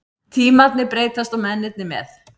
Tímarnir breytast og mennirnir með.